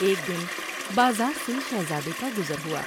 ایک دن بازار سے شہزادے کا گزر ہوا ۔